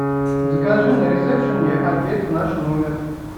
закажи на ресепшене обед в наш номер